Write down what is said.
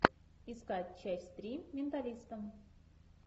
искать часть три менталиста